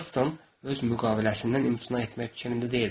Heltton öz müqaviləsindən imtina etmək fikrində deyildi.